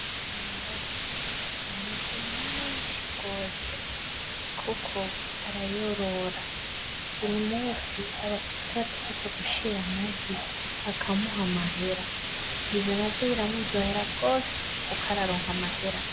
Linda afise amagi menshi gose kuko arayorora, buri munsi abafise abategerezwa gushira amagi bakamuha amahera, ivyo navyo biramuryohera gose kuko araronka amahera .